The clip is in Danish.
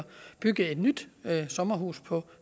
bygge et nyt sommerhus på